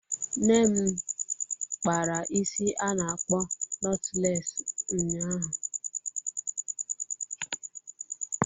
Nne m kpara isi a na-akpọ notụles ụnyaahụ.